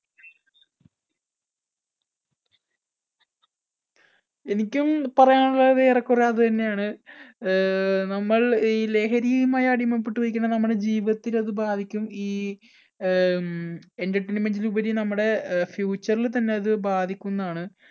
എനിക്കും പറയാനുള്ളത് ഏറെക്കുറെ അത് തന്നെയാണ്. ആഹ് നമ്മൾ ഈ ലഹരിയുമായി അടിമപ്പെട്ട് പോയികഴിഞ്ഞാൽ നമ്മുടെ ജീവിതത്തിൽ അത് ബാധിക്കും. ഈ ആഹ് ഉം entertainment ന് ഉപരി നമ്മുടെ അഹ് future ൽ തന്നെ അത് ബാധിക്കുന്നതാണ്.